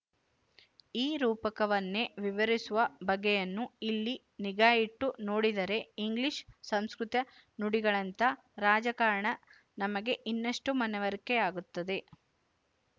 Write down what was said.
ಈ ರೂಪಕವನ್ನೇ ವಿವರಿಸುವ ಬಗೆಯನ್ನು ಇಲ್ಲಿ ನಿಗಾಯಿಟ್ಟು ನೋಡಿದರೆ ಇಂಗ್ಲಿಶು ಸಂಸ್ಕೃತ ನುಡಿಗಳಂತಹ ರಾಜಕಾರಣ ನಮಗೆ ಇನ್ನಷ್ಟು ಮನವರಿಕೆಯಾಗುತ್ತದೆ